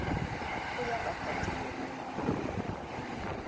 go ya ka khathuni ye